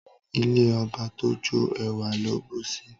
Ilé ọba tójó ẹwà ló bùsi